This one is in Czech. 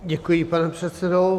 Děkuji, pane předsedo.